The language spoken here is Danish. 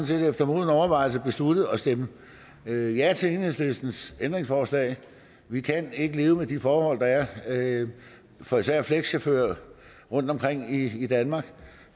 set efter moden overvejelse besluttet at stemme ja ja til enhedslistens ændringsforslag vi kan ikke leve med de forhold der er for især flekschauffører rundtomkring i danmark